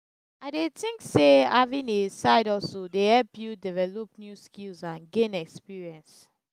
i dey think say having a side-hustle dey help you develop new skills and gain experience.